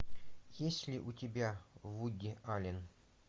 есть ли у тебя вуди аллен